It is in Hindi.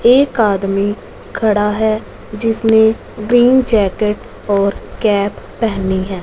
एक आदमी खड़ा है जिसने ग्रीन जैकेट और कैप पहनी है।